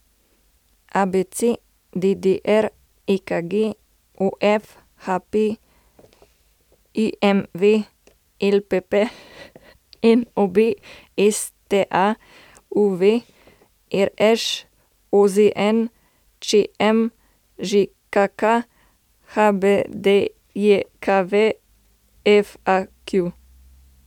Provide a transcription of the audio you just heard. ABC, DDR, EKG, OF, HP, IMV, LPP, NOB, STA, UV, RŠ, OZN, ČM, ŽKK, HBDJKV, FAQ.